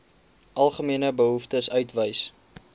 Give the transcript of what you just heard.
algemene behoeftes uitwys